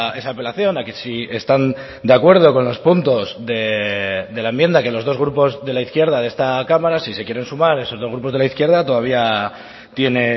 esa apelación a que si están de acuerdo con los puntos de la enmienda que los dos grupos de la izquierda de esta cámara si se quieren sumar esos dos grupos de la izquierda todavía tiene